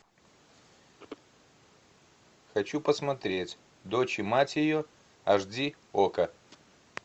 хочу посмотреть дочь и мать ее аш ди окко